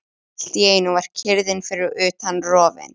Allt í einu var kyrrðin fyrir utan rofin.